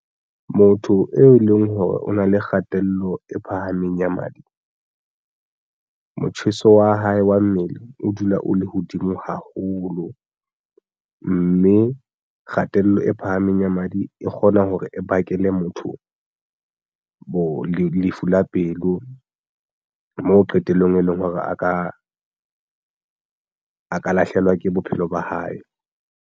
Motho eo e leng hore o na le kgatello e phahameng ya madi, motjheso wa hae wa mmele o dula o le hodimo haholo mme kgatello e phahameng ya madi e kgona hore e bakele motho bo lefu la pelo mo qetellong e leng hore a ka lahlehelwa ke bophelo ba hae.